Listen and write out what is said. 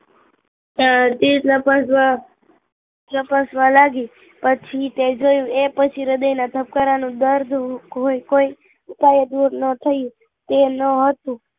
તેજ તેજન લપસવા લાગી, લપસવા એ પછી તે જોયું એ પછી હ્રદય ના ધબકારાનું દર્દ કોઈ ઉપયયોજના ન થયું તેમ ના હતું